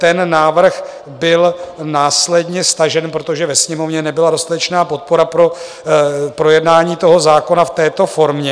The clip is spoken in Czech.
Ten návrh byl následně stažen, protože ve Sněmovně nebyla dostatečná podpora pro projednání toho zákona v této formě.